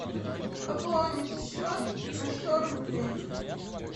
пополнить счет на сто рублей